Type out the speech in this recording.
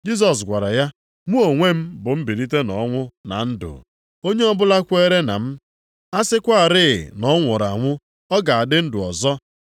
Jisọs gwara ya, “Mụ onwe m bụ mbilite nʼọnwụ na ndụ. Onye ọbụla kwere na m, a sịkwarị na ọ nwụrụ anwụ, ọ ga-adị ndụ ọzọ.